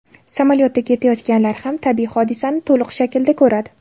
Samolyotda ketayotganlar ham tabiiy hodisani to‘liq shaklda ko‘radi.